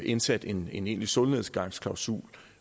indsat en egentlig solnedgangsklausul